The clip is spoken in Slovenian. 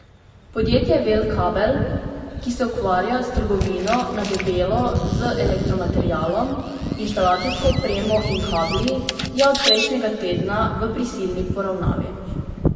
Podjetje Vel kabel, ki se ukvarja s trgovino na debelo z elektromaterialom, inštalacijsko opremo in kabli, je od prejšnjega tedna v prisilni poravnavi.